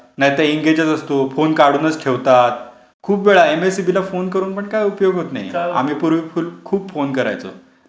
नाहीतर फोन एंगेजच असतो, फोन काढूनच ठेवतात. खूप वेळा एमएसईबी ला फोन करून पण काही उपयोग होत नाही. आम्ही पूर्वी खूप फोन करायचं लाईट गेली की.